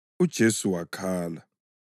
UJesu wakhala.